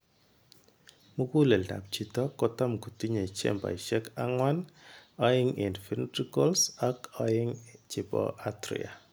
Muguleldap chito kotam kotinye chamber ishek anwan, oeng che ventricles ak oeng chepo Atria.